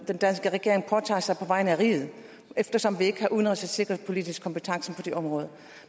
den danske regering påtager sig på vegne af riget eftersom vi ikke har udenrigs og sikkerhedspolitisk kompetence på det område